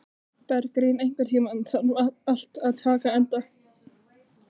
Bergrín, einhvern tímann þarf allt að taka enda.